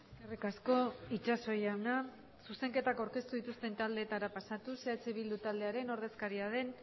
eskerrik asko itsaso jauna zuzenketak aurkeztu dituzten taldeetara pasatuz eh bildu taldearen ordezkaria den